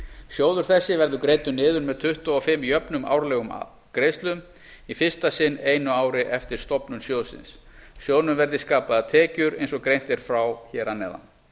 sjóður þessi verður greiddur niður með tuttugu og fimm jöfnum árlegum greiðslum í fyrsta sinn einu ári eftir stofnun sjóðsins sjóðnum verði skapaðar tekjur eins og greint er frá hér að neðan